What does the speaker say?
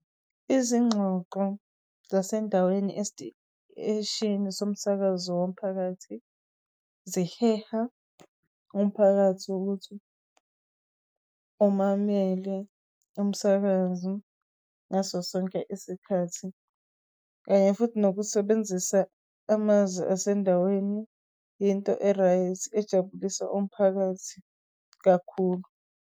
Izingxoxo zasendaweni esiteshini somsakazo womphakathi, ziheha umphakathi ukuthi umamele umsakazi ngaso sonke isikhathi futhi nokusebenzisa amazwi asendaweni, into e-right ejabulisa umphakathi kakhulu.